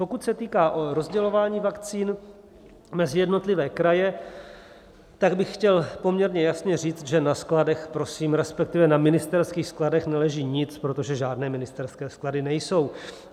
Pokud se týká rozdělování vakcín mezi jednotlivé kraje, tak bych chtěl poměrně jasně říct, že na skladech, prosím, respektive na ministerských skladech, neleží nic, protože žádné ministerské sklady nejsou.